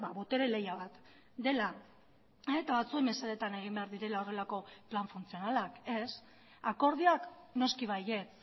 botere lehia bat dela eta batzuen mesedetan egin behar direla horrelako plan funtzionalak ez akordioak noski baietz